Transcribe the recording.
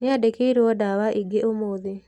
Nĩandikĩirwo ndawa ingĩ ũmũthĩ.